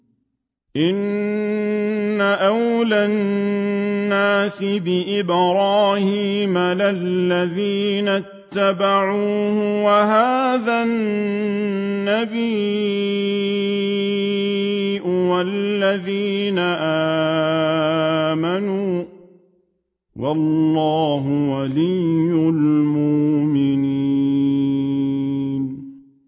إِنَّ أَوْلَى النَّاسِ بِإِبْرَاهِيمَ لَلَّذِينَ اتَّبَعُوهُ وَهَٰذَا النَّبِيُّ وَالَّذِينَ آمَنُوا ۗ وَاللَّهُ وَلِيُّ الْمُؤْمِنِينَ